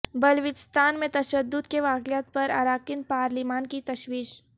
بلوچستان میں تشدد کے واقعات پر اراکین پارلیمان کی تشویش